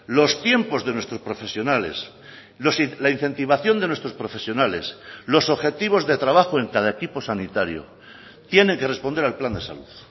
los tiempos de nuestros profesionales la incentivación de nuestros profesionales los objetivos de trabajo en cada equipo sanitario tiene que responder al plan de salud